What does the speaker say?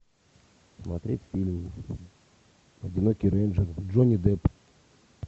смотреть фильм одинокий рейнджер джонни депп